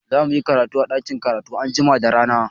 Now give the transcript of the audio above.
Za muyi karatu a ɗakin karatu anjima da rana.